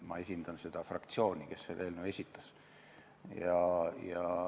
Ma esindan fraktsiooni, kes selle eelnõu esitas.